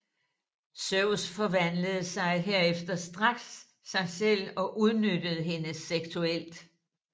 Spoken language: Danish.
Zeus forvandlede sig herefter straks til sig selv og udnyttede hende seksuelt